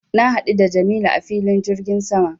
Na haɗu da jamilu a filin jirgin sama